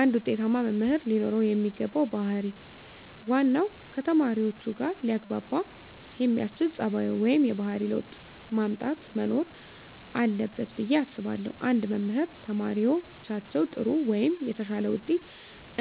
አንድ ውጤታማ መምህር ለኖረው የሚገባው ባህር ዋናው ከተማሪዎቹጋ ሊያግባባ የሚያስችል ፀባዩ ወይም የባህሪ ለውጥ ማምጣት መኖር አለበት ብየ አስባለሁ። አንድ መምህር ተማሪዎቻቸው ጥሩ ወይም የተሻለ ውጤት